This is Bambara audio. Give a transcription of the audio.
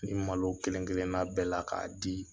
Nin malo kelen-kelenna bɛɛ la k'a di